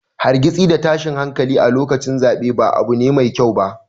Hargitsi da tashin hankali a lokacin zaɓe ba abu ne mai kyau ba.